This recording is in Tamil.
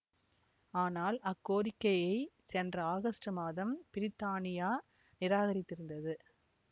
ஆனால் அக்கோரிக்கையை சென்ற ஆகஸ்ட் மாதம் பிரித்தானியா நிராகரித்திருந்தது